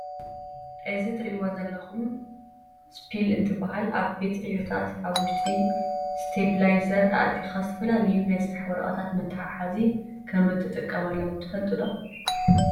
እዚ እትሪእዎ ዘለኹም እስፒል እንትብሃል ኣብ ቤት ዕዮታት ኣብ ውሽጢ ስቴፕላይዘር ኣእቲውኻ ዝተፈላለዩ ናይ ስራሕ ወረቐታት መትሓሓዚ ከም እንትቀመሉ ትፈልጡ ዶ?